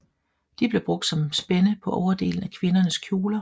De blev brugt som spænde på overdelen af kvindernes kjoler